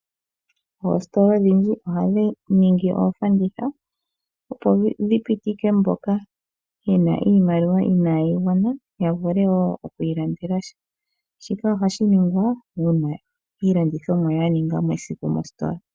Oositola odhindji ohadhi ningi oofanditha opo dhi pitike mboka yena iimaliwa inaayi gwana, ya vule wo oku ilandela sha. Shika ohashi ningwa uuna iilandithomwa ya ninga mo esiku mositola.